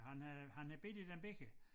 Han har han har bidt i dem begge